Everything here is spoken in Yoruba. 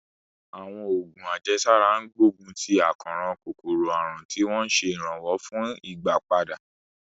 Àwọn oògùn àjẹsára ń gbógun ti àkóràn kòkòrò àrùn, tí wọ́n ń ṣe ìrànlọ́wọ́ fún ìgbàpadà.